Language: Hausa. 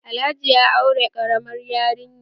Alhaji ya aure ƙaramar yarinya